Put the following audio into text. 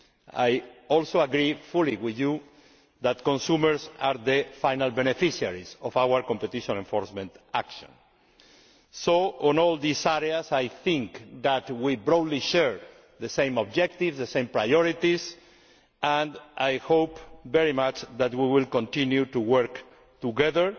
consumers. I also agree fully with you that consumers are the final beneficiaries of our competition enforcement action. So I think that on all these areas we probably share the same objectives, the same priorities, and I hope very much that we will continue to work